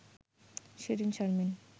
Shirin Sharmin